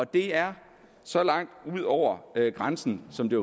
det er så langt ud over grænsen som det